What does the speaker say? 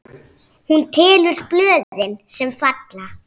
Hún telur blöðin, sem falla.